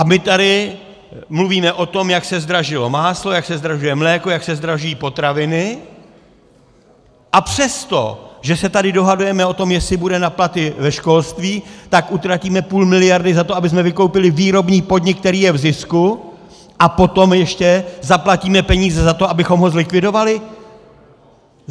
A my tady mluvíme o tom, jak se zdražilo máslo, jak se zdražuje mléko, jak se zdražují potraviny, a přesto, že se tady dohadujeme o tom, jestli bude na platy ve školství, tak utratíme půl miliardy za to, abychom vykoupili výrobní podnik, který je v zisku, a potom ještě zaplatíme peníze za to, abychom ho zlikvidovali?